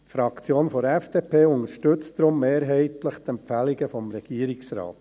Die Fraktion der FDP unterstützt deshalb mehrheitlich die Empfehlungen des Regierungsrates.